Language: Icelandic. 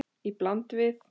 Í bland við